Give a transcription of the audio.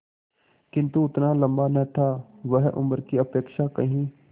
किंतु उतना लंबा न था वह उम्र की अपेक्षा कहीं